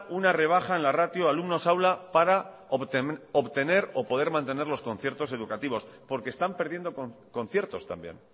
una rebaja en la ratio alumnos aula para obtener o poner mantener los conciertos educativos porque están perdiendo conciertos también